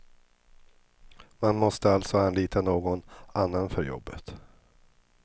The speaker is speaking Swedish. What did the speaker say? Man måste alltså anlita någon annan för jobbet.